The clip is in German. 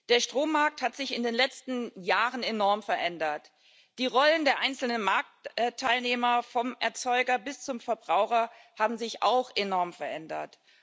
Der Strommarkt hat sich in den letzten Jahren enorm verändert. Die Rollen der einzelnen Marktteilnehmer vom Erzeuger bis zum Verbraucher haben sich auch enorm verändert.